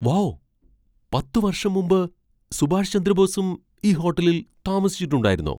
Wow ! പത്ത് വർഷം മുമ്പ് സുഭാഷ് ചന്ദ്രബോസും ഈ ഹോട്ടലിൽ താമസിച്ചിട്ടുണ്ടായിരുന്നോ?